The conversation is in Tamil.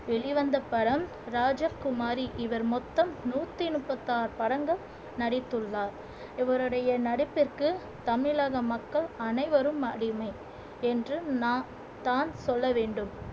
வெளிவந்த படம் ராஜகுமாரி இவர் மொத்தம் நூத்தி முப்பத்தி ஆறு படங்கள் நடித்துள்ளார் இவருடைய நடிப்பிற்கு தமிழக மக்கள் அனைவரும் அடிமை என்று நான் தான் சொல்ல வேண்டும்